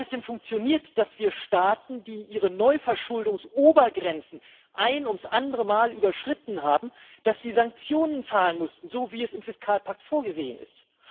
Hat es denn funktioniert, dass Staaten, die ihre Neuverschuldungsobergrenzen ein ums andere Mal überschritten haben, Sanktionen zahlen mussten, so wie es im Fiskalpakt vorgesehen ist?